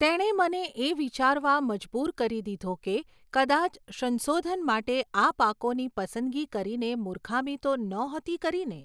તેણે મને એ વિચારવા મજબૂર કરી દીધો કે કદાચ સંશોધન માટે આ પાકોની પસંદગી કરીને મૂર્ખામી તો નહોતી કરીને?